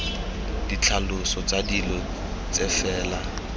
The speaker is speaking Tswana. ditlhaloso tsa dilo tse fela